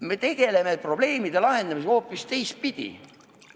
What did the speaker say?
Me tegeleme probleemide lahendamisega hoopis teistpidi.